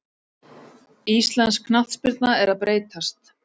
Íslensk knattspyrna er að breytast.